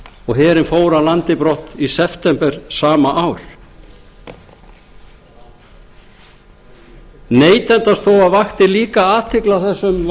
og herinn fór af landi brott í september sama ár neytendastofa vakti líka athygli á þessum